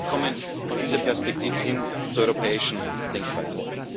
Wir müssen wegkommen von dieser Perspektive hin zur europäischen Denkweise.